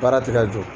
Baara ti ka jɔ